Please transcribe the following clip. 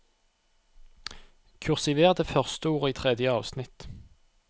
Kursiver det første ordet i tredje avsnitt